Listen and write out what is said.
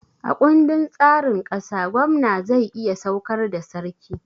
A ƙundin tsarin ƙasa, gwamna zai iya saukar da sarki